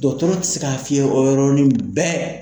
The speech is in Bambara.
Dɔgɔtɔrɔ tɛ se k'a f'i ye o yɔrɔnin bɛɛ.